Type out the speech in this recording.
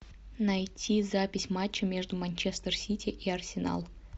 найти запись матча между манчестер сити и арсенал